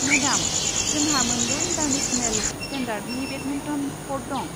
मेदाम, जोंहा मोनद' इन्टारनेशनेल स्टेन्डार्डनि बेडमिन्टन क'र्ट दं।